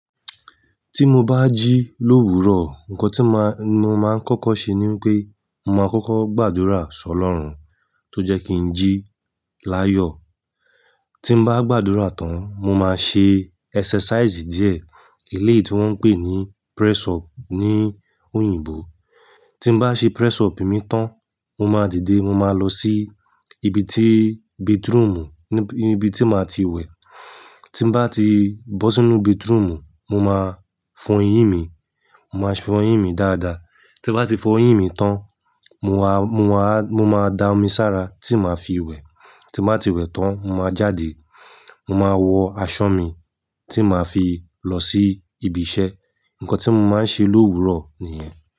Tí mo bá jí l'óòwúrò, ǹkan tí ma-mo máa ń kọ́kọ́ ṣe ni wípé, mo máa kọ́kọ́ gbàdúrà s'ọlọ́run tó jẹ́ kí n jí l'áyò. Tí n bá gbàdúrà tán, mo máa ṣe ẹsẹsáísì díẹ̀, eléyì tí wọ́n ń pè ní pírẹ́sọọ̀pù ní oyìnbó tí n bá ṣe pírẹ́sọọ̀pù mi tán, mo máa dìde, mo máa lọ sí ibi tí betirúmù, níbi tí màá tiwẹ̀ tí n bá ti bọ́ sínú batirúmù mo máa fọ eyín mi-mo máa fọ eyín mi dáadáa. Tí n bá ti fọ eyín mi tán, mo wa-mo wá-mo máa da omi s'ára tí máa fi wẹ̀ tin ba ti wẹ tan, mo ma jáde, mo ma wọ aṣọ mi ti ma fi lọ si ibi iṣẹ́. Nkán ti mo ma n se lowuro niyen.